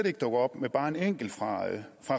ikke dukker bare en enkelt fra